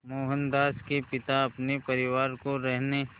मोहनदास के पिता अपने परिवार को रहने